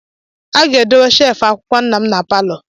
A ga-edowe sheelfụ akwụkwọ nna m na palọ.